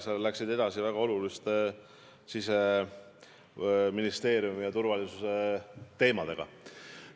Sa läksid edasi väga oluliste Siseministeeriumi ja turvalisuse teemadega.